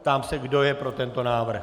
Ptám se, kdo je pro tento návrh.